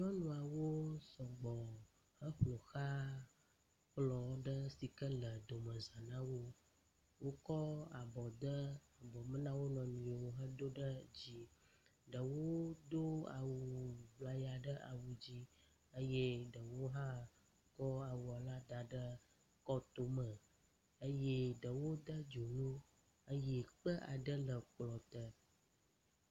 Nyɔnuawo sɔgbɔ heƒoxla kplɔ ɖe si ke le domeza na wo. Wokɔ abɔ de abɔ me na wo nɔewo hedo ɖe dzi. Ɖewo do awuŋlaya ɖe awu dzi eye ɖewo hã kɔ awu la da ɖe kɔtome eye ɖewo de dzonu eye kpe aɖe le kplɔ te.